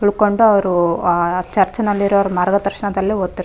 ಉಳ್ಕೊಂಡ್ತಾ ಅವ್ರು ಅ ಚರ್ಚ್ ನಲ್ಲಿರೋ ಮಾರ್ಗದರ್ಶನದಲ್ಲಿ ಓದ್ ತಿರ್.